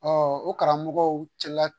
o karamɔgɔw cɛla